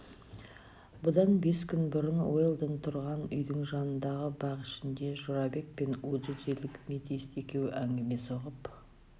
бұдан бес күн бұрын уэлдон тұрған үйдің жанындағы бак ішінде жорабек пен уджиджилік метист екеуі әңгіме соғып